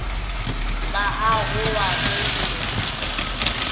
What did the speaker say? ba a gowa ge be